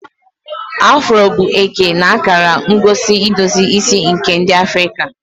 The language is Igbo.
Afro bụ eke na akara ngosi idozi isi nke ndi Afrika.